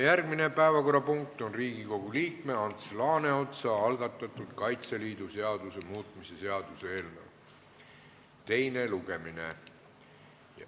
Järgmine päevakorrapunkt on Riigikogu liikme Ants Laaneotsa algatatud Kaitseliidu seaduse muutmise seaduse eelnõu teine lugemine.